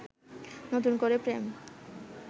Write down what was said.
নতুন করে প্রেম